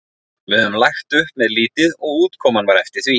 Við höfðum lagt upp með lítið og útkoman var eftir því.